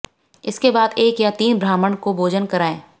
इसके बाद एक या तीन ब्राह्मण को भोजन कराएं